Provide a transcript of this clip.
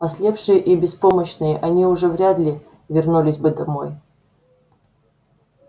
ослепшие и беспомощные они уже вряд ли вернулись бы домой